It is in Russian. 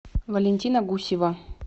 валентина гусева